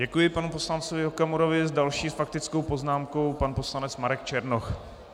Děkuji panu poslancovi Okamurovi, s další faktickou poznámkou pan poslanec Marek Černoch.